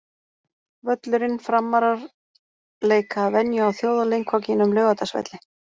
Völlurinn: Framarar leika að venju á þjóðarleikvangnum, Laugardalsvelli.